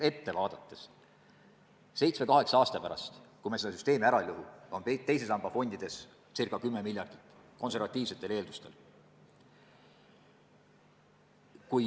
Ette vaadates võib öelda, et seitsme-kaheksa aasta pärast, kui me seda süsteemi ära ei lõhu, on teise samba fondides ca 10 miljardit eurot – seda konservatiivsetel eeldustel.